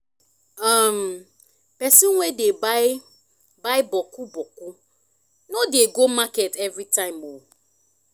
um pesin wey dey buy bokku bokku no dey go market evritime o